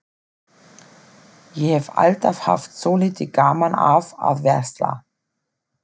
Ég hef alltaf haft svolítið gaman af að versla.